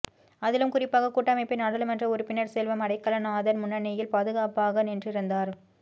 அதிலும் குறிப்பாக கூட்டமைப்பின் நாடாளுமன்ற உறுப்பினர் செல்வம் அடைக்கலநாதன் முன்னணியில் பாதுகாப்பாக நின்றிருந்தார்